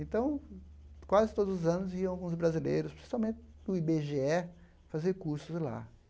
Então, quase todos os anos, iam alguns brasileiros, principalmente do i bê gê é, fazer cursos lá.